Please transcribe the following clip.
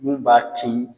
Mun b'a to